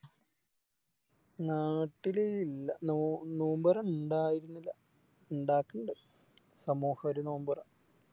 നാട്ടില് ഇല്ല നോ നോമ്പൊറ ഇണ്ടായിരിന്നില്ല ഇണ്ടാക്ക്ണ്ട് സമൂഹോരു നോമ്പൊറ